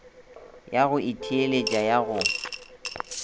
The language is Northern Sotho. ya go itheeletša ya go